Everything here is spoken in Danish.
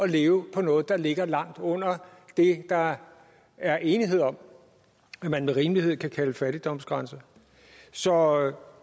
leve for noget der ligger langt under det der er enighed om man med rimelighed kan kalde fattigdomsgrænse så